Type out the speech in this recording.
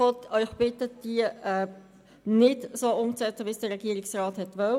Die FiKo Sie bittet, diese nicht so umzusetzen, wie dies der Regierungsrat will.